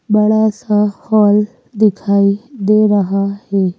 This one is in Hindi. बड़ा सा हॉल दिखाई दे रहा है ।